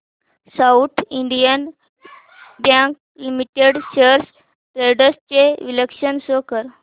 south Indian Bank Limited shares trends चे विश्लेषण show कर